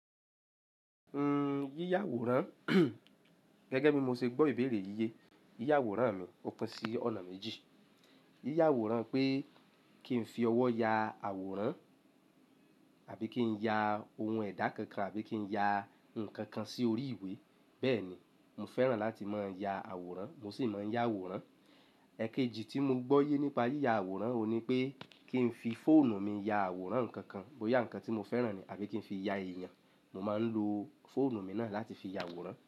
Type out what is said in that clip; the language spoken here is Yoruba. Yíya àwòrán, gẹ́gẹ́ bí mo ṣe gbọ́ ìbéèrè yíyẹ, yíya àwòrán mi ò kan sí ọ̀nà méjì. Yíya àwòrán pé kí n fi ọwọ́ ya àwòrán àbí kí n ya ohun ẹ̀dá kankan àbí kí n ya nǹkan kan sí orí ìwé. Bẹ́ẹ̀ ni, mo fẹ́ràn láti máa ya àwòrán, mo sì máa ń ya àwòrán. Ẹ̀kejì tí mo gbọ́ yé nípa yíya àwòrán òun ni pé kí n fi fóònù mi ya àwòrán ǹkan kan, bóyá ǹkan tí mo fẹ́ràn ni àbí kí n fi ya èèyàn, mo máa ń lo fóònù mi náà láti fi ya àwòrán.